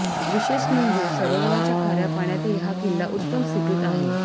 विशेष म्हणजे सरोवराच्या खाऱ्या पाण्यातही हा किल्ला उत्तम स्थितीत आहे